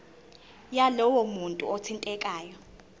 yalowo muntu othintekayo